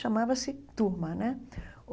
Chamava-se turma né.